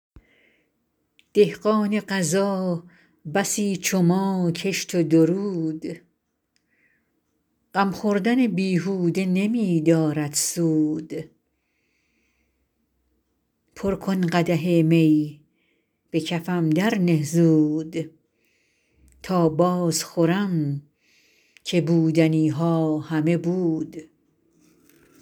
دهقان قضا بسی چو ما کشت و درود غم خوردن بیهوده نمی دارد سود پر کن قدح می به کفم درنه زود تا باز خورم که بودنی ها همه بود